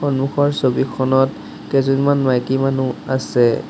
সন্মুখৰ ছবিখনত কেইজনমান মাইকী মানুহ আছে।